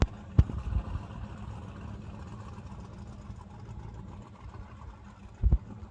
скажи пожалуйста есть ли экспресс выезд из отеля